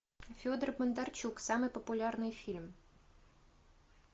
федор бондарчук самый популярный фильм